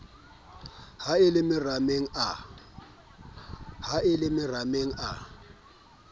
ha e le marameng a